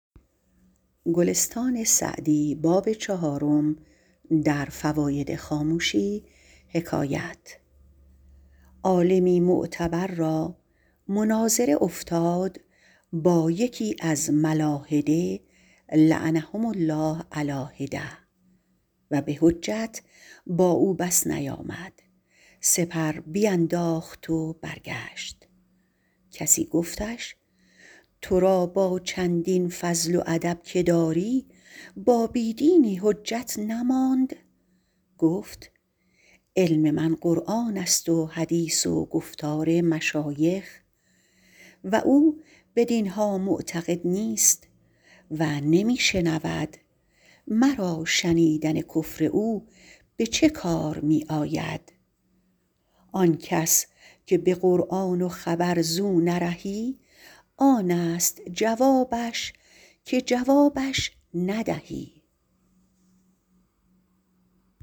عالمی معتبر را مناظره افتاد با یکی از ملاحده لعنهم الله علیٰ حدة و به حجت با او بس نیامد سپر بینداخت و برگشت کسی گفتش تو را با چندین فضل و ادب که داری با بی دینی حجت نماند گفت علم من قرآن است و حدیث و گفتار مشایخ و او بدین ها معتقد نیست و نمی شنود مرا شنیدن کفر او به چه کار می آید آن کس که به قرآن و خبر زو نرهی آن است جوابش که جوابش ندهی